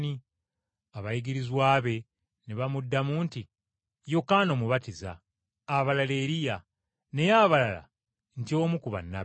Abayigirizwa be ne bamuddamu nti, “Yokaana Omubatiza, abalala Eriya, naye abalala nti omu ku bannabbi.”